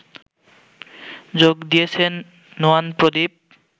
যোগ দিয়েছেন নুয়ান প্রদীপ